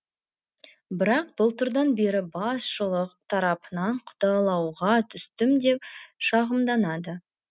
бірақ былтырдан бері басшылық тарапынан құдалауға түстім деп шағымданады